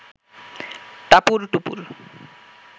টাপুর টুপুর